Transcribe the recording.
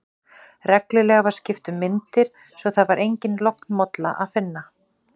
Reglulega var skipt um myndir, svo að þar var enga lognmollu að finna.